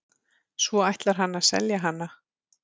Svo ætlar hann að selja hana.